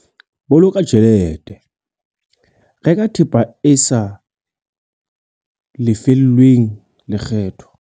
Boloka tjhelete- Reka thepa e sa lefellweng lekgetho